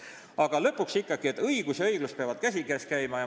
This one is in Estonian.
Aga lõpuks ikkagi see, et õigus ja õiglus peavad käsikäes käima.